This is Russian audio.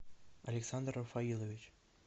александр рафаилович